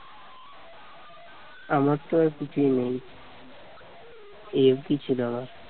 আমার তো আর কিছুই নেই এই অব্দি ছিল আমার